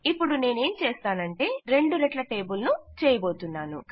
ఇపుడు నేనేంచేస్తానంటే నేను రెండు రెట్ల టేబుల్ ను చేయబోతున్నాను